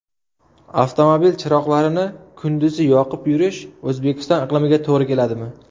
Avtomobil chiroqlarini kunduzi yoqib yurish O‘zbekiston iqlimiga to‘g‘ri keladimi?.